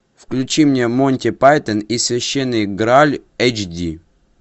включи мне монти пайтон и священный грааль эйч ди